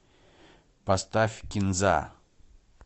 поставь кинза